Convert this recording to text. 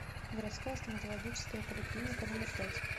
городская стоматологическая поликлиника номер пять